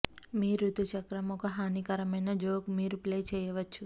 మీ ఋతు చక్రం ఒక హానికరమైన జోక్ మీరు ప్లే చేయవచ్చు